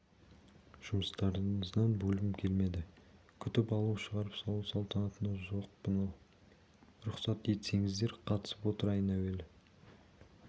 жұмыстарыңыздан бөлгім келмеді күтіп алу шығарып салу салтанатына жоқпын ал рұқсат етсеңіздер қатысып отырайын әуелі